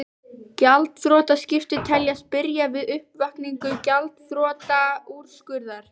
Gjaldþrotaskipti teljast byrja við uppkvaðningu gjaldþrotaúrskurðar.